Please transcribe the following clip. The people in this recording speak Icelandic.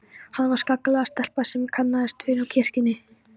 Hún var skelegg stelpa sem ég kannaðist við úr kirkjunni.